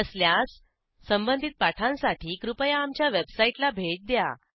नसल्यास संबंधित पाठांसाठी कृपया आमच्या वेबसाईटला भेट द्या